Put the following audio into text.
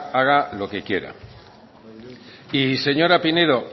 haga lo que quiera y señora pinedo